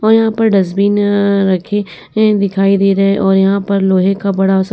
और यहाँ पर डस्टबीन रखे दिखाई दे रहे हैं और यहाँ पर लोहें का बड़ा-सा --